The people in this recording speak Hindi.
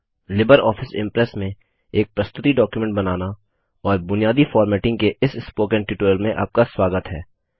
लिबर ऑफिस इम्प्रेस में एक प्रस्तुति डॉक्युमेंट बनाना और बुनियादी फोर्मटिंग के इस स्पोकन ट्यूटोरियल में आपका स्वागत है